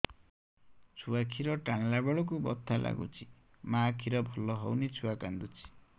ଛୁଆ ଖିର ଟାଣିଲା ବେଳକୁ ବଥା ଲାଗୁଚି ମା ଖିର ଭଲ ହଉନି ଛୁଆ କାନ୍ଦୁଚି